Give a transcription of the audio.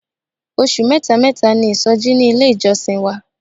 Oṣù mẹ́ta mẹ́ta ni isoji ní ilé ìjọsìn wa.